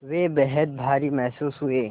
वे बेहद भारी महसूस हुए